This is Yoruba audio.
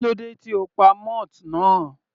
Kílódé tí o pa moth náà?.